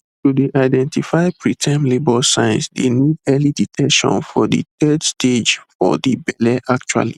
to dey identify preterm labour signs dey need early detection for de third stage for de belle actually